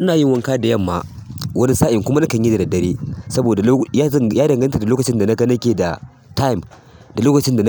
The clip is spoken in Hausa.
Ina yin wanka da yamma wani sa'in kuma nakan yi da daddare saboda ya danganta da lokacin da nake da time, da lokacin da